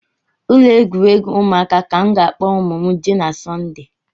Ụlọ egwuregwu ụmụaka ka m ga-akpọ ụmụ m jee na sọnde